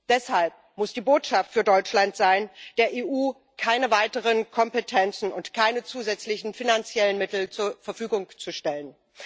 Deshalb muss die Botschaft für Deutschland sein, der EU keine weiteren Kompetenzen und keine zusätzlichen finanziellen Mittel zur Verfügung zu stellen.